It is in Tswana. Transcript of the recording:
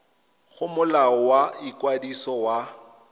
go molao wa ikwadiso wa